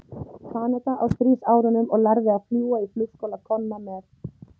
Kanada á stríðsárunum og lærði að fljúga í flugskóla Konna með